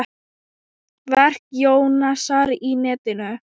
Verk Jónasar á netinu